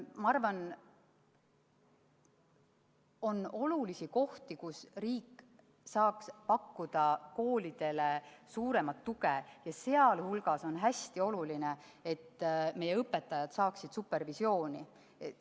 Ma arvan, et on olulisi kohti, kus riik saaks pakkuda koolidele suuremat tuge, ja seejuures on hästi oluline, et meie õpetajad saaksid supervisiooni.